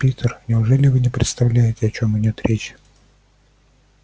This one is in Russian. питер неужели вы не представляете о чём идёт речь